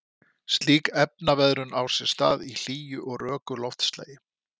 Slík efnaveðrun á sér stað í hlýju og röku loftslagi.